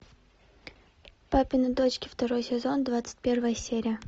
папины дочки второй сезон двадцать первая серия